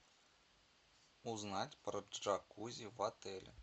узнать про джакузи в отеле